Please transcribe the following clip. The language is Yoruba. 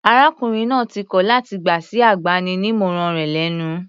Arákùnrin náà ti kọl láti gbà sí agbaninímọ̀ràn rẹ̀ lẹ́nu.